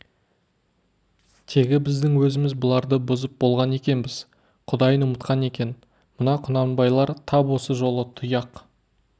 тегі біздің өзіміз бұларды бұзып болған екенбіз құдайын ұмытқан екен мына құнанбайлар тап осы жолы тұяқ